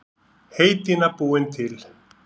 Heydýna búin til.